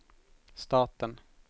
staten